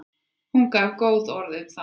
Hún gaf góð orð um það.